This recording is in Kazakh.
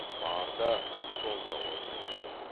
бар да сонда орнай бер